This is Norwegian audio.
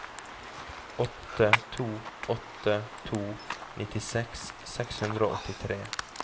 åtte to åtte to nittiseks seks hundre og åttitre